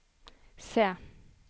se